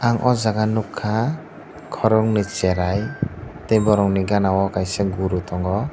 ang o jaga nogkha korogoi cherai tei borok ni gana o kaisa guru tango.